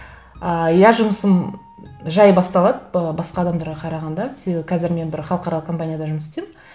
ыыы иә жұмысым жай басталады ы басқа адамдарға қарағанда себебі қазір мен бір халықаралық компанияда жұмыс істеймін